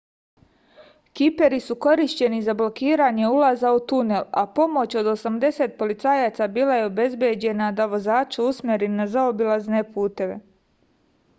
kiperi su korišćeni za blokiranje ulaza u tunel a pomoć od 80 policajaca bila je obezbeđena da vozače usmeri na zaobilazne puteve